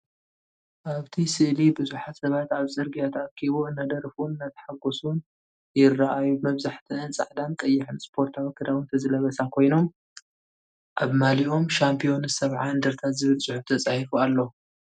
ኣብቲ ስእሊ ቡዝሓት ሰባት ኣብ ጽርግያ ተኣኪቡ እናደረፉን እናተሓጎሱን ይረኣዩ። መብዛሕትአን ጻዕዳን ቀይሕን ስፖርታዊ ክዳውንቲ ዝለበሳ ኮይኖም፡ ኣብ ማልያኦም "ሻምፕዮንስ 70 አንደርታ" ዝብል ጽሑፍ ተጻሒፉ ኣሎ።